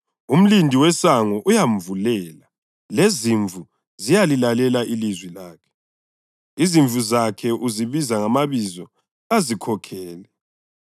Umlindi wesango uyamvulela, lezimvu ziyalilalela ilizwi lakhe. Izimvu zakhe uzibiza ngamabizo azikhokhele.